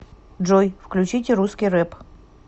джой включите русский рэп